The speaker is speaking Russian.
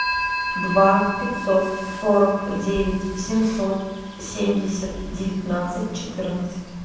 два пятьсот сорок девять семьсот семьдесят девятнадцать четырнадцать